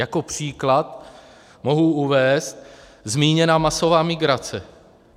Jako příklad mohu uvést zmíněnou masovou migraci.